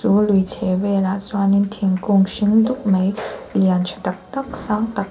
a chhehvelah chuanin thingkung hring dup mai lian tha tak tak sang tak--